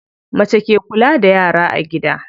Mace ke kula da yara a gida.